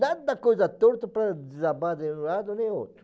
Nada coisa torta para desabar de um lado nem outro.